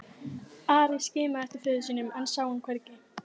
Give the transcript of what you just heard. Ari skimaði eftir föður sínum en sá hann hvergi.